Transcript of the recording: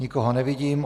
Nikoho nevidím.